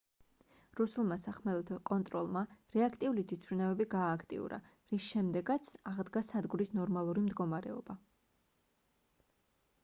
რუსულმა სახმელეთო კონტროლმა რეაქტიული თვითმფრინავები გაააქტიურა რის შემდეგაც აღდგა სადგურის ნორმალური მდგომარეობა